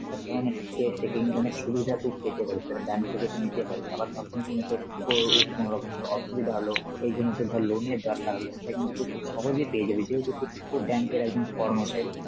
এই সব ধরনের এ সুবিধাতক পেতে পারিস, তাহলে bank থেকে তুই নিতে পারিস, আবার ধর কোন সময় তোর কোনরকম ধর অসুবিধা হলো, এইজন্যে তোর ধর loan এর দরকার হলো, সেটা কিন্তু তুই খুব সহজেই পেয়ে যাবি যেহেতু তুই উ bank এর একজন কর্মচারী.